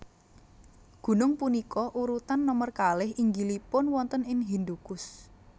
Gunung punika urutan nomer kalih inggilipun wonten ing Hindukush